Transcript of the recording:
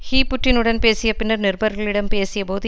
he புட்டினுடன் பேசிய பின்னர் நிருபர்களிடம் பேசிய போது